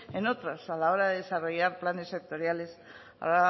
en otros a la hora de desarrollar planes sectoriales a